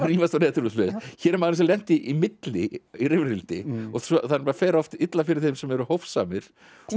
rífast á netinu og svoleiðis hér er maðurinn sem lenti í milli í rifrildi það fer oft illa fyrir þeim sem eru hófsamir